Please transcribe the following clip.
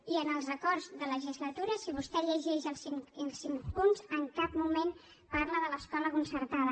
i en els acords de legislatura si vostè llegeix els cinc punts en cap moment parla de l’escola concertada